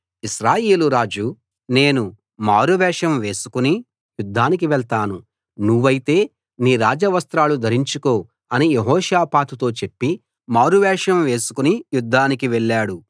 ఇశ్రాయేలురాజు నేను మారువేషం వేసుకుని యుద్ధానికి వెళ్తాను నువ్వైతే నీ రాజ వస్త్రాలు ధరించుకో అని యెహోషాపాతుతో చెప్పి మారువేషం వేసుకుని యుద్ధానికి వెళ్ళాడు